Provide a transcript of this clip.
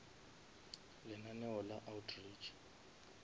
lenaneo la outreach